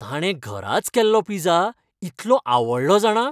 ताणें घराच केल्लो पिझ्झा इतलो आवडलो जाणा.